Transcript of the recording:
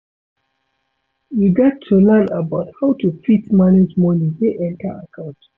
You gat to learn about how to fit manage money wey enter account